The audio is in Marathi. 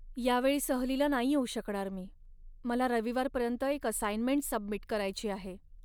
यावेळी सहलीला नाही येऊ शकणार मी. मला रविवारपर्यंत एक असाईनमेंट सबमिट करायची आहे.